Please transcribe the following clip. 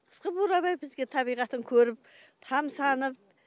қысқы бурабай бізге табиғатын көріп тамсанып